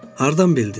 Hardan bildin?